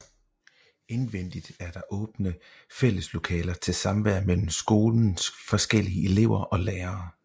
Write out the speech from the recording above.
Indvendigt er der åbne fælleslokaler til samvær mellem skolens forskellige elever og lærere